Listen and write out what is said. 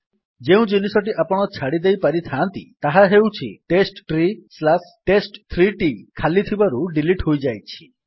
ଯେଉଁ ଜିନିଷଟି ଆପଣ ଛାଡିଦେଇପାରିଥାନ୍ତି ତାହା ହେଉଛି testtreetest3ଟି ଖାଲି ଥିବାରୁ ଡିଲିଟ୍ ହୋଇଯାଇଛି